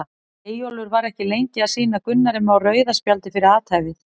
Eyjólfur var ekki lengi að sýna Gunnari Má rauða spjaldið fyrir athæfið.